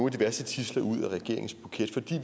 af de værste tidsler ud af regeringens buket fordi